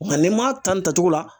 Nka n'i m'a ta nin tacogo la